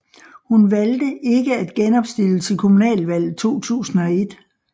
Han valgte ikke at genopstille til kommunalvalget 2001